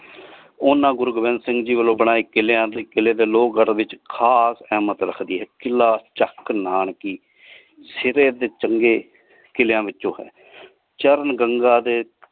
ਓਹਨਾ ਗੁਰੂ ਗੋਬਿੰਦ ਸਿੰਘ ਜੀ ਵਾਲੋ ਬਣਾਏ ਕਿਲ੍ਯਾ ਤੇ ਕਿਲੇ ਦੇ ਲੋਹ ਘਰ ਵਿਚ ਖਾਦ ਸਹਿਮਤ ਰੱਖਦੇ ਕਿਲਾ ਚਕ ਨਾਨਕੀ ਸਿਧੇ ਦੇ ਚੰਗੇ ਕਿਲ੍ਯਾਂ ਵਿੱਚੋ ਹੈ ਚਰਨ ਗੰਗਾ ਦੇ।